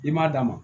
I m'a d'a ma